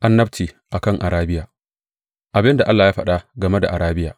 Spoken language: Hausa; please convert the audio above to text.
Annabci a kan Arabiya Abin da Allah ya faɗa game da Arabiya.